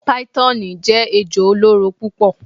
Python jẹ ejo oloro pupọ